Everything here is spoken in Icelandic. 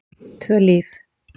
Tvö Líf